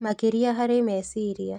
Makĩrĩa harĩ meciria